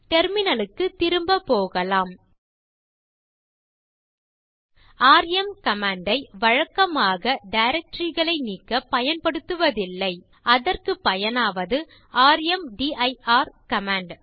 terminal க்குத் திரும்ப போகலாம் ராம் கமாண்ட் ஐ வழக்கமாக டைரக்டரி களை நீக்க பயன்படுத்துவதில்லை அதற்கு பயனாவது ர்ம்தீர் கமாண்ட்